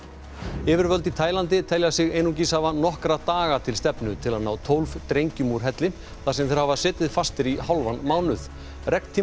yfirvöld í Taílandi telja sig einungis hafa nokkra daga til stefnu til að ná tólf drengjum úr helli þar sem þeir hafa setið fastir í hálfan mánuð